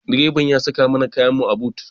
Direban mota ya saka mana kayanmu a but.